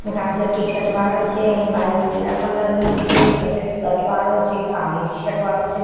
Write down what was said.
ગાજર ટીશર્ટ વાળો છે એની બાઇક પીડા કલર ની છે એક સફેદ શર્ટ વાળો છે એક કાળી ટીશર્ટ વાળો છે.